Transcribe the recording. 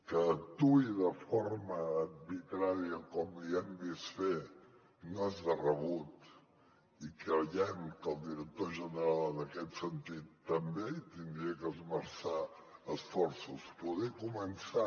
que actuï de forma arbitrària com li hem vist fer no és de rebut i creiem que el director general en aquest sentit també hi hauria d’esmerçar esforços poder començant